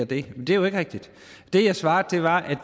det men det er jo ikke rigtigt det jeg svarede var at